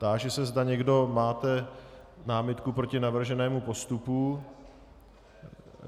Táži se, zda někdo máte námitku proti navrženému postupu.